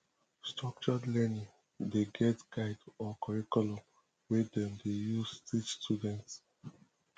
structured learning de get guide or curriculum wey dem de use teach students